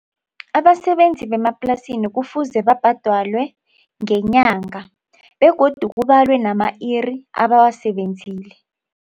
Abasebenzi bemaplasini kufuze babhadalwe ngenyanga begodu kubalwa nama-iri abawasebenzileko.